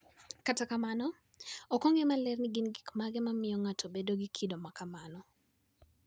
Kata kamano, ok ong'e maler ni gin gik mage ma miyo ng'ato bedo gi kido ma kamano.